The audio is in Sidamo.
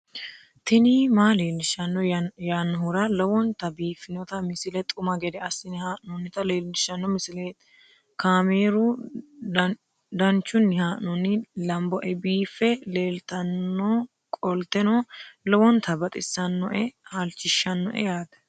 tini maa leelishshanno yaannohura lowonta biiffanota misile xuma gede assine haa'noonnita leellishshanno misileeti kaameru danchunni haa'noonni lamboe biiffe leeeltannoqolten lowonta baxissannoe halchishshanno yaate